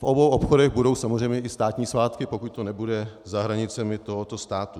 V obou obchodech budou samozřejmě i státní svátky, pokud to nebude za hranicemi tohoto státu.